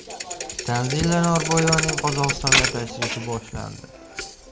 Tanzila Norboyevaning Qozog‘istonga tashrifi boshlandi.